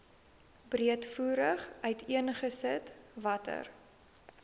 breedvoerig uiteengesit watter